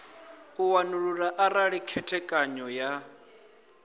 u wanulula arali khethekanyo ya